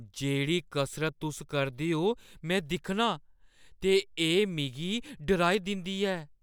जेह्‌ड़ी कसरत तुस करदे ओ, में दिक्खनां ते एह् मिगी डराई दिंदी ऐ ।